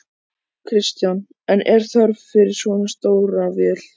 Kristján: En er þörf fyrir svona stóra vél?